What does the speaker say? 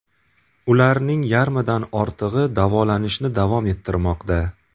Ularning yarmidan ortig‘i davolanishni davom ettirmoqda.